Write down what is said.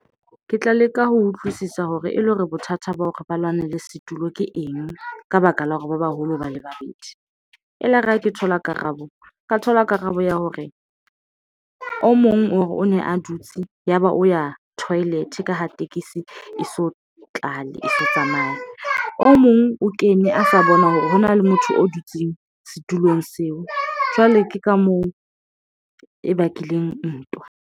Ke tla leka ho utlwisisa hore e le hore bothata ba hore ba lwanela setulo ke eng ka baka la hore ba baholo ho ba le babedi. Elare ha ke thola karabo, ka thola karabo ya hore o mong o re o ne a dutse yaba o ya toilet ka ho tekesi e so tlale e se tsamaya, o mong o kene a sa bona hore hona le motho o dutseng setulong seo, jwale ke ka moo e bakileng ntwa.